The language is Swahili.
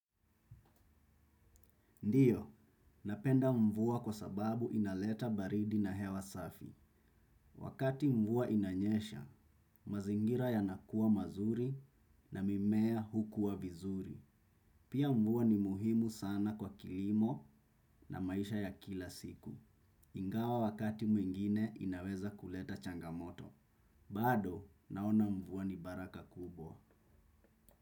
Ndiyo, napenda mvua kwa sababu inaleta baridi na hewa safi. Wakati mvua inanyesha, mazingira yanakuwa mazuri na mimea hukuwa vizuri. Pia mvua ni muhimu sana kwa kilimo na maisha ya kila siku. Ingawa wakati mwingine inaweza kuleta changamoto. Bado, naona mvua ni baraka kubwa.